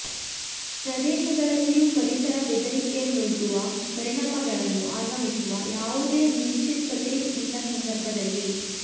ಪ್ರದೇಶಗಳಲ್ಲಿಯೂ ಪರಿಸರ ಬೆದರಿಕೆಯನ್ನೊಡ್ಡುವ ಪರಿಣಾಮಗಳನ್ನು ಆಗಮಿಸುವ ಯಾವುದೇ ನಿಶ್ಚಿತತೆ ಇಲ್ಲ ಸಂದರ್ಭದಲ್ಲಿ